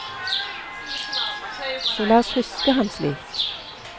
Så la oss huske ham slik.